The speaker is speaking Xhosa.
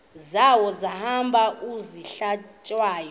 zawo ehamba eyihlalutya